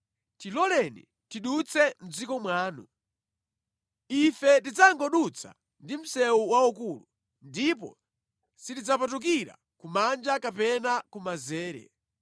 “Tiloleni tidutse mʼdziko mwanu. Ife tidzangodutsa ndi msewu waukulu, ndipo sitidzapatukira kumanja kapena kumanzere.